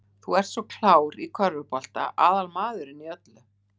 Þú sem ert svo klár. í körfubolta. aðal maðurinn í öllu!